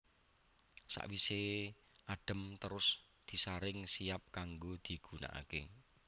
Sawisé adhem terus disaring siap kanggo digunakaké